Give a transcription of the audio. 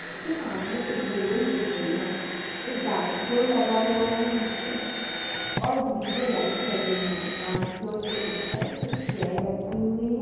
सामने एक बिल्डिंग दिख रई है। एक डांस फ्लोर लगा हुआ है। नीचे और डी.जे. लाइट्स लगे हुएँ हैं। डांस फ्लोर के उप्पर एक चेयर रक्खी हुई है।